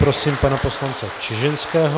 Prosím pana poslance Čižinského.